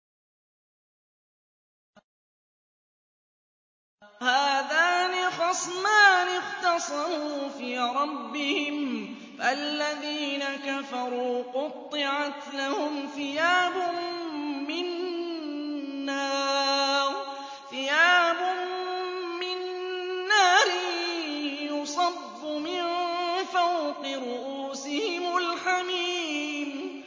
۞ هَٰذَانِ خَصْمَانِ اخْتَصَمُوا فِي رَبِّهِمْ ۖ فَالَّذِينَ كَفَرُوا قُطِّعَتْ لَهُمْ ثِيَابٌ مِّن نَّارٍ يُصَبُّ مِن فَوْقِ رُءُوسِهِمُ الْحَمِيمُ